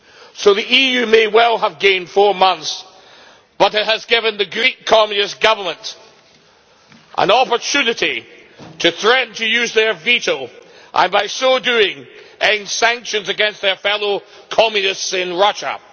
So the EU may well have gained four months but it has given the Greek Communist government an opportunity to threaten to use their veto and by so doing end sanctions against their fellow Communists in Russia.